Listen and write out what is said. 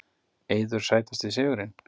Eiður Sætasti sigurinn?